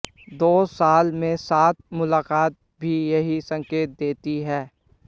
दो साल में सात मुलाकातें भी यही संकेत देती हैं